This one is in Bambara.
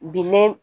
Bi ne